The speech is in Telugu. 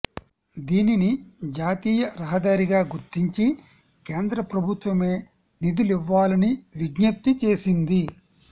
దీనిని జాతీయ రహదారిగా గుర్తించి కేంద్ర ప్రభుత్వమే నిధులివ్వాలని విజ్ఞప్తి చేసింది